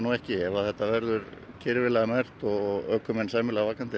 ekki ef þetta verður kyrfilega merkt og ökumenn vakandi